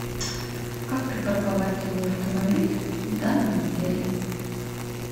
как припарковать свой автомобиль в данном отеле